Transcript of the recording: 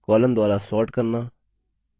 columns द्वारा sorting करना